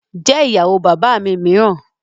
Jẹ́ ìyàwó bàbá mi mìíràn